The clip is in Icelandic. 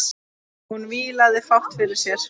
Hún vílaði fátt fyrir sér.